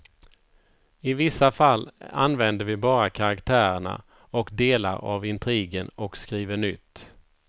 I vissa fall använder vi bara karaktärerna och delar av intrigen och skriver nytt.